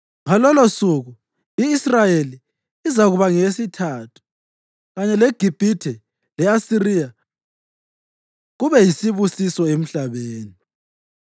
Ngalolosuku i-Israyeli izakuba ngeyesithathu kanye leGibhithe le-Asiriya kube yisibusiso emhlabeni.